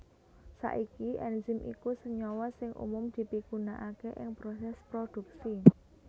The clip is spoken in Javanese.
Saiki enzim iku senyawa sing umum dipigunaaké ing prosès prodhuksi